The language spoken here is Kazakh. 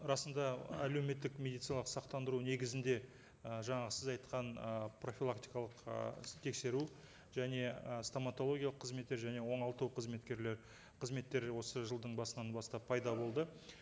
расында әлеуметтік медициналық сақтандыру негізінде і жаңағы сіз айтқан ы профилактикалық ы тексеру және ы стоматологиялық қызметтер және оңалту қызметкерлері қызметтері осы жылдың басынан бастап пайда болды